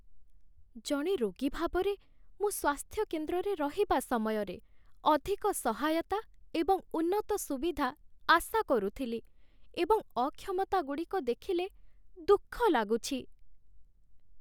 ଜଣେ ରୋଗୀ ଭାବରେ, ମୁଁ ସ୍ୱାସ୍ଥ୍ୟ କେନ୍ଦ୍ରରେ ରହିବା ସମୟରେ ଅଧିକ ସହାୟତା ଏବଂ ଉନ୍ନତ ସୁବିଧା ଆଶା କରୁଥିଲି, ଏବଂ ଅକ୍ଷମତାଗୁଡ଼ିକ ଦେଖିଲେ ଦୁଃଖ ଲାଗୁଛି।